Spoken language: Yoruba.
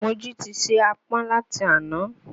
Mojí ti se ààpọ̀n láti àná